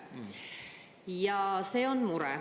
Ja see on mure.